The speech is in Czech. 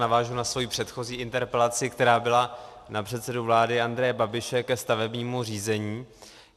Navážu na svoji předchozí interpelaci, která byla na předsedu vlády Andreje Babiše ke stavebnímu řízení.